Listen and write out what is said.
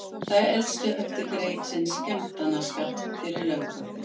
Þær elstu höfðu greitt sinn skemmtanaskatt fyrir löngu.